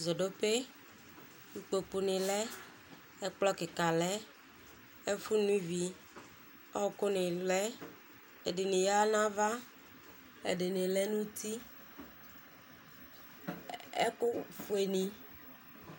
Zodope ikpokʋ ni lɛ ɛkplɔ kika lɛ ɛfʋ no ivi ɔkʋ ni lɛ ɛdini yanʋ ava ɛdini lɛnʋ uti ɛkʋfueni